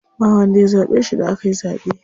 Ba wanda ya zaɓe shi da akayi zaɓe.